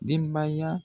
Denbaya